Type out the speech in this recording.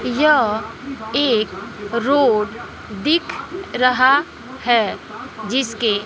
यह एक रोड दिख रहा है जिसके--